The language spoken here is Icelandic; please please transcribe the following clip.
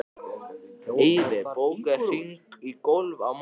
Eyfi, bókaðu hring í golf á mánudaginn.